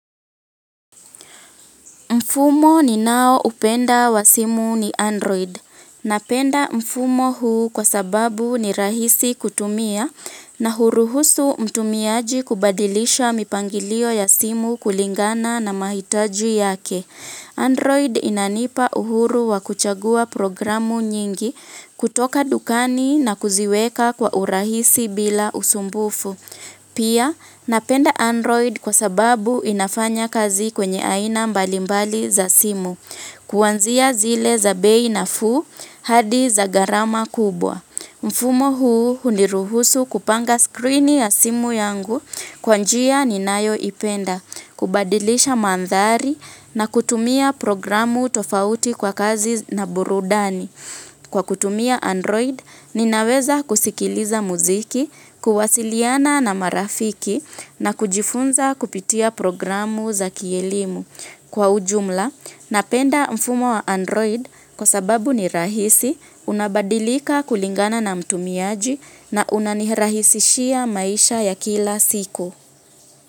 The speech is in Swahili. Mfumo ninaoupenda wa simu ni Android. Napenda mfumo huu kwa sababu ni rahisi kutumia na huruhusu mtumiaji kubadilisha mipangilio ya simu kulingana na mahitaji yake. Android inanipa uhuru wa kuchagua programu nyingi kutoka dukani na kuziweka kwa urahisi bila usumbufu. Pia, napenda Android kwa sababu inafanya kazi kwenye aina mbalimbali za simu, kuanzia zile za bei nafuu hadi za gharama kubwa. Mfumo huu huniruhusu kupanga skrini ya simu yangu kwa njia ninayoipenda, kubadilisha mandhari na kutumia programu tofauti kwa kazi na burudani. Kwa kutumia Android, ninaweza kusikiliza muziki, kuwasiliana na marafiki na kujifunza kupitia programu za kielimu. Kwa ujumla, napenda mfumo wa Android kwa sababu ni rahisi, unabadilika kulingana na mtumiaji na unanihirahisishia maisha ya kila siku.